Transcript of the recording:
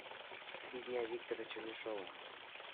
три дня виктора чернышова